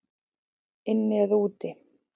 Inni eða úti?